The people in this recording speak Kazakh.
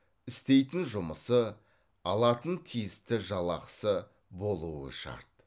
істейтін жұмысы алатын тиісті жалақысы болуы шарт